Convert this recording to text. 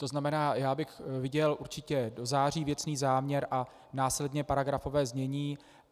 To znamená, já bych viděl určitě do září věcný záměr a následně paragrafové znění.